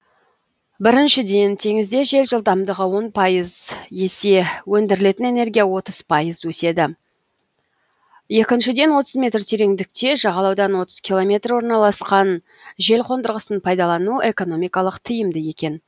біріншіден теңізде жел жылдамдығы он пайыз есе өндірілетін энергия отыз пайыз өседі екіншіден отыз метр тереңдікте жағалаудан отыз километр орналасқан желқондырғысын пайдалану экономикалық тиімді екен